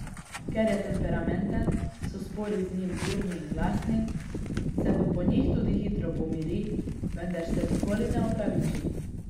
Ker je temperamenten, so spori z njim burni in glasni, se pa po njih tudi hitro pomiri, vendar se nikoli ne opraviči.